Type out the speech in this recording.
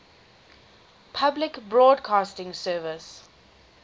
public broadcasting service